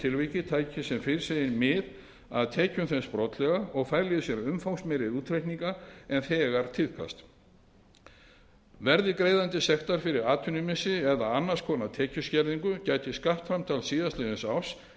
tilviki tæki sem fyrr segir mið af tekjum þess brotlega og fæli í sér umfangsmeiri útreikninga en nú tíðkast verði greiðandi sektar fyrir atvinnumissi eða annars konar tekjuskerðingu gæti skattframtal liðins árs